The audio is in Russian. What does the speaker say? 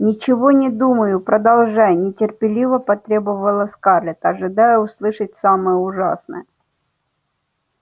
ничего не думаю продолжай нетерпеливо потребовала скарлетт ожидая услышать самое ужасное